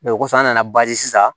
o kɔfɛ an nana sisan